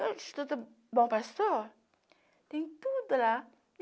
No Instituto Bom Pastor, tem tudo lá.